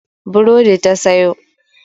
Burodi ta sayo.